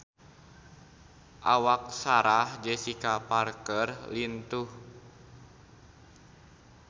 Awak Sarah Jessica Parker lintuh